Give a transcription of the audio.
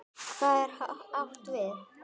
Hvað er átt við?